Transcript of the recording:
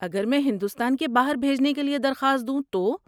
اگر میں ہندوستان کے باہر بھیجنے کے لیے درخواست دوں تو؟